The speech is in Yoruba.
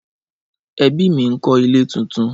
Ẹbí mi ń kọ́ ilé tuntun.